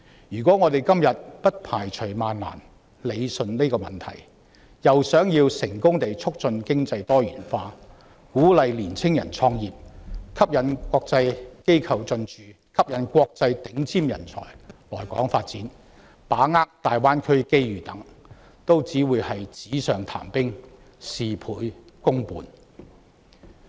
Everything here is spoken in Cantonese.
如果我們今天不排除萬難解決這個問題，卻又想要促進經濟多元化、鼓勵青年人創業、吸引國際機構進駐、吸引國際頂尖人才來港發展、把握大灣區機遇等，也只是紙上談兵，事倍功半。